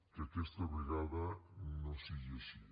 que aquesta vegada no sigui així